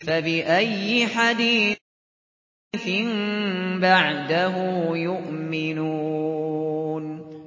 فَبِأَيِّ حَدِيثٍ بَعْدَهُ يُؤْمِنُونَ